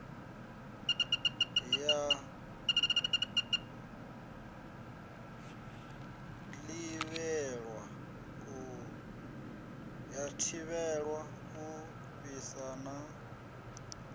ya ḓivhelwa u fhisa na